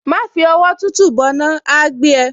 Má fi ọwọ́ tútù bọná, á á gbé ẹ.